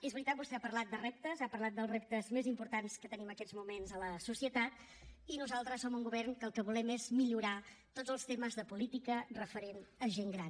és veritat vostè ha parlat de reptes ha parlat dels reptes més importants que tenim en aquests moments a la societat i nosaltres som un govern que el que volem és millorar tots els temes de política referent a gent gran